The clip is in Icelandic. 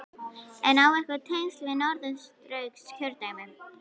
En á hann einhver tengsl við Norðausturkjördæmi?